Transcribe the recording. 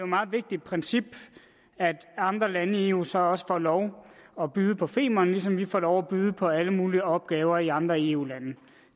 meget vigtigt princip at andre lande i eu så også får lov at byde på femern ligesom vi får lov at byde på alle mulige opgaver i andre eu lande